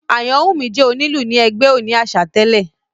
Ayanwunmi jẹ́ onílù ni ẹgbẹ́ òní àṣà tẹ̀lé